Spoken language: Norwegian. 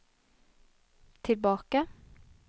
tilbake